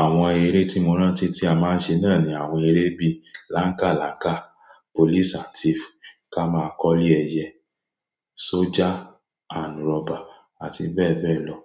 Àwon eré tí mo rántí tí a máa ń ṣe náà ni àwon eré bi Lánkàlákà, Police and Thief, ká máa kọ́lé ẹyẹ, soja and robber àti bẹ́ẹ̀ bẹ́ẹ̀ lọ.